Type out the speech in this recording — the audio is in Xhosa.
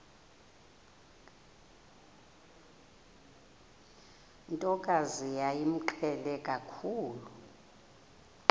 ntokazi yayimqhele kakhulu